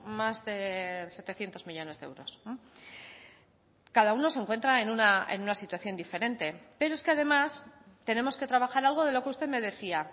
más de setecientos millónes de euros cada uno se encuentra en una situación diferente pero es que además tenemos que trabajar algo de lo que usted me decía